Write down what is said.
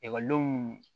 Ekɔlidenw